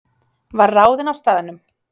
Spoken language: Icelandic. Var ráðinn á staðnum